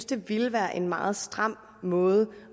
det ville være en meget stram måde